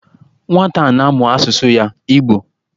Nwata a na-amu asusu ya, Igbo